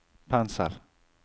pensel